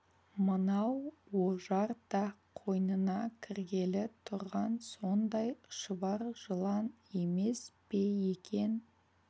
мынау ожар да қойнына кіргелі тұрған сондай шұбар жылан емес пе екен